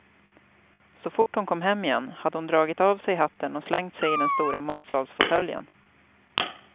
Så fort hon kom hem igen hade hon dragit av sig hatten och slängt sig i den stora matsalsfåtöljen.